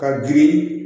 Ka ji